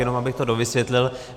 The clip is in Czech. Jenom abych to dovysvětlil.